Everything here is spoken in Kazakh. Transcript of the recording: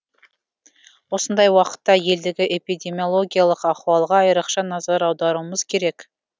осындай уақытта елдегі эпидемиологиялық ахуалға айрықша назар аударуымыз керек